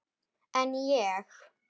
En ég?